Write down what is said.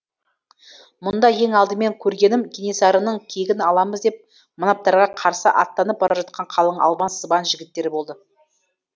мұнда ең алдымен көргенім кенесарының кегін аламыз деп манаптарға қарсы аттанып бара жатқан қалың албан сыбан жігіттері болды